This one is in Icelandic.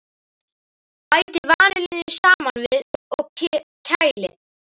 Bætið vanillunni saman við og kælið.